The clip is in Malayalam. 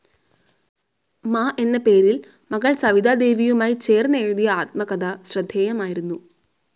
മ എന്ന പേരിൽ മകൾ സവിതാദേവിയുമായി ചേർന്നെഴുതിയ ആത്മകഥ ശ്രദ്ധേയമായിരുന്നു.